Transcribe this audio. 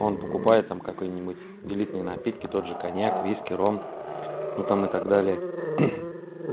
он покупает там какой-нибудь элитные напитки тот же коньяк виски ром ну там и так далее